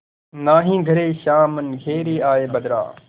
नाहीं घरे श्याम घेरि आये बदरा